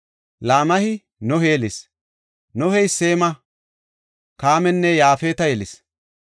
Laamehi Nohe yelis; Nohey Seema, Kaamanne Yaafeta yelis.